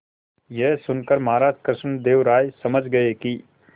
यह सुनकर महाराज कृष्णदेव राय समझ गए कि